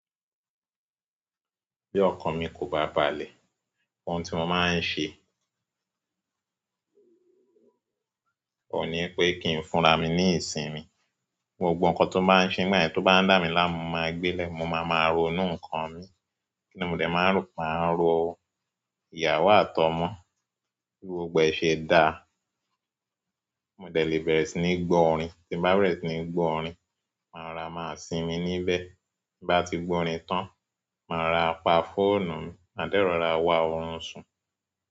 Bí ọkan mi kò bá balẹ̀, ohun tí mo máa ń ṣe ohùn ní pé kí n fúnra mi ní ìsinmi. Gbogbo nǹkan tó bá ń sẹ nígbà yẹn tó bá ń dà mí lá, mo máa gbé lẹ̀. Mo má má ronú nkán mí. Kíni mo dé máa ń rò? Máà ròo, ìyàwó àtọmọ bí gbogbo ẹ ṣe dáa. Mo dé lẹ́ bẹ̀rẹ̀ sí ní gbọ́ orin. Tí n bá bẹ̀rẹ̀ sí ní gbọ́ orin, màá rọra máa sinmi níbẹ̀. T'in ba ti gbọ orin tan, má rọra pá fóònù mí. Ma dẹ́ rọ̀ra wa ọ̀run sùn.